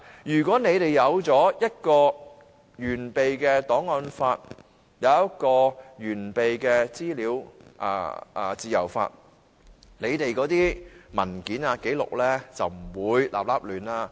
如果一套完備的檔案法和一套完備的資訊自由法，政府的文件和紀錄便不會亂七八糟。